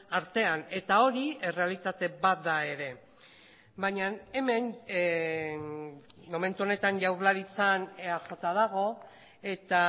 artean eta hori errealitate bat da ere baina hemen momentu honetan jaurlaritzan eaj dago eta